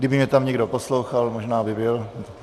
Kdyby mě tam někdo poslouchal, možná by byl.